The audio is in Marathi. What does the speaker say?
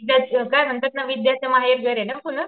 काय म्हणतात ना विद्येचं माहेरघर ना पून.